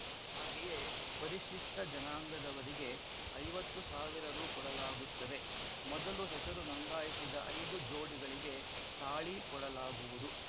ಹಾಗೆಯೇ ಪರಿಶಿಷ್ಠ ಜನಾಂಗದವರಿಗೆ ಐವತ್ತು ಸಾವಿರ ರು ಕೊಡಲಾಗುತ್ತದೆ ಮೊದಲು ಹೆಸರು ನೋಂದಾಯಿಸಿದ ಐದು ಜೋಡಿಗಳಿಗೆ ತಾಳಿ ಕೊಡಲಾಗುವುದು